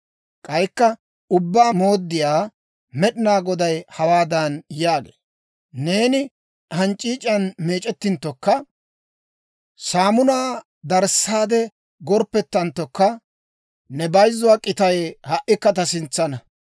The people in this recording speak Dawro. K'aykka Ubbaa Mooddiyaa Med'inaa Goday hawaadan yaagee; «Neeni hanc'c'iic'iyaan meec'ettanttokka, saamunaa darissaade gorppettanttokka, ne bayzzuwaa k'itay ha"ikka ta sintsaana.